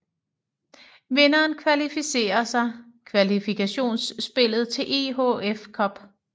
Vinderen kvalificerer sig kvalifkationsspillet til EHF Cup